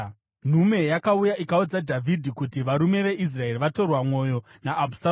Nhume yakauya ikaudza Dhavhidhi kuti, “Varume veIsraeri vatorwa mwoyo naAbhusaromu.”